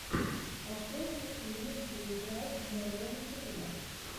открой мне фильмы где играл морган фримен